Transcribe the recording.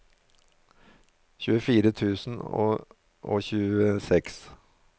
tjuefire tusen og tjueseks